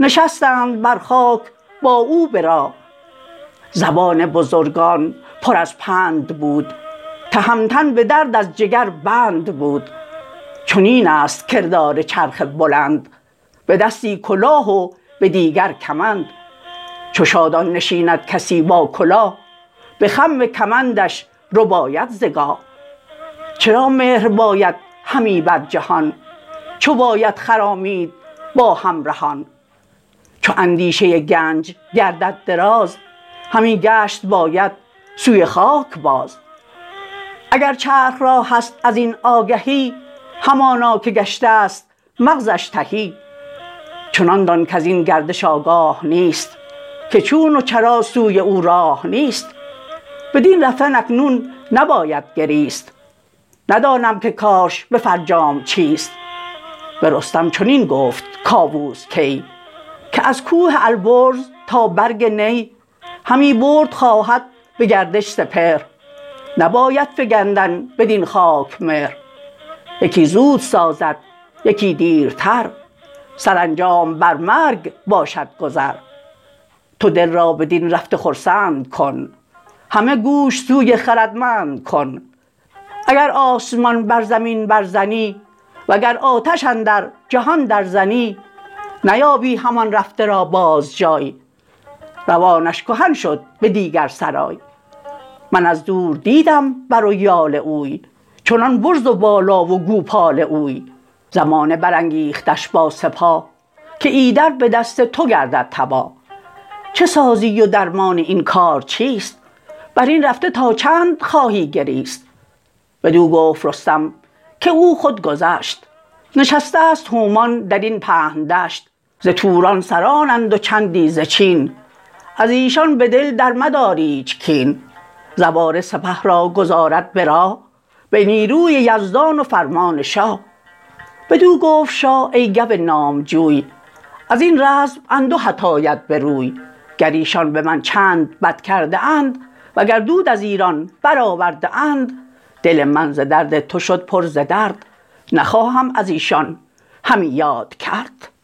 نشستند بر خاک با او به راه زبان بزرگان پر از پند بود تهمتن به درد از جگربند بود چنینست کردار چرخ بلند به دستی کلاه و به دیگر کمند چو شادان نشیند کسی با کلاه بخم کمندش رباید ز گاه چرا مهر باید همی بر جهان چو باید خرامید با همرهان چو اندیشه گنج گردد دراز همی گشت باید سوی خاک باز اگر چرخ را هست ازین آگهی همانا که گشتست مغزش تهی چنان دان کزین گردش آگاه نیست که چون و چرا سوی او راه نیست بدین رفتن اکنون نباید گریست ندانم که کارش به فرجام چیست به رستم چنین گفت کاووس کی که از کوه البرز تا برگ نی همی برد خواهد به گردش سپهر نباید فگندن بدین خاک مهر یکی زود سازد یکی دیرتر سرانجام بر مرگ باشد گذر تو دل را بدین رفته خرسند کن همه گوش سوی خردمند کن اگر آسمان بر زمین بر زنی وگر آتش اندر جهان در زنی نیابی همان رفته را باز جای روانش کهن شد به دیگر سرای من از دور دیدم بر و یال اوی چنان برز و بالا و گوپال اوی زمانه برانگیختش با سپاه که ایدر به دست تو گردد تباه چه سازی و درمان این کار چیست برین رفته تا چند خواهی گریست بدو گفت رستم که او خود گذشت نشستست هومان درین پهن دشت ز توران سرانند و چندی ز چین ازیشان بدل در مدار ایچ کین زواره سپه را گذارد به راه به نیروی یزدان و فرمان شاه بدو گفت شاه ای گو نامجوی ازین رزم اندوهت آید به روی گر ایشان به من چند بد کرده اند و گر دود از ایران برآورده اند دل من ز درد تو شد پر ز درد نخواهم از ایشان همی یاد کرد